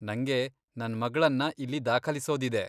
ನಂಗೆ ನನ್ ಮಗ್ಳನ್ನ ಇಲ್ಲಿ ದಾಖಲಿಸೋದಿದೆ.